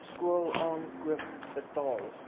skool aankoop betaal